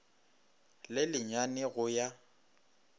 le le nyane go ya